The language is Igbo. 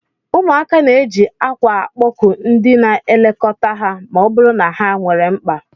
Ụmụaka na-eji akwa akpọku ndị na-elekọta ha ma ọ bụrụ na ha nwere mkpa